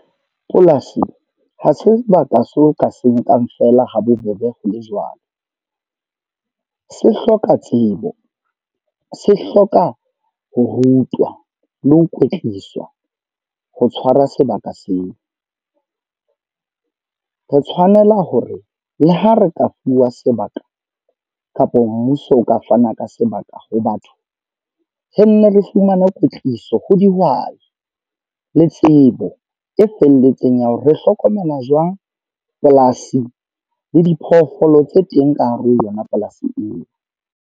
Polasi, ha sebaka seo ka se nkang feela ha bobebe ho le jwalo. Se hloka tsebo, se hloka ho rutwa, le ho kwetliswa ho tshwara sebaka seo. Re tshwanela hore le ha re ka fuwa sebaka, kapa mmuso o ka fana ka sebaka ho batho. Re nne le fumana kwetliso ho dihwai le tsebo e felletseng ya hore re hlokomela jwang polasi, le diphoofolo tse teng ka hare ho yona polasi eo.